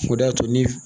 O de y'a to ni